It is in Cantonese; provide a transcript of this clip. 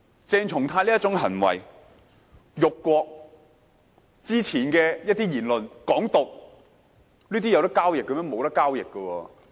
鄭松泰議員這些行為：辱國、早前的一些言論：港獨，這些能夠交易嗎？